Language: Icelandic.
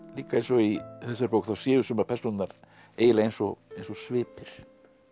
líka eins og í þessari bók þá séu sumar persónurnar eiginlega eins og svipir